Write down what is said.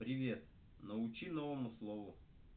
привет научи новому слову